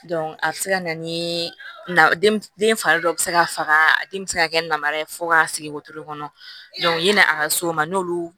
a bɛ se ka na ni den fari dɔ bɛ se ka faga a den bɛ se ka kɛ namara ye fo k'a sigi wotoro kɔnɔ yani a ka s'o ma n'olu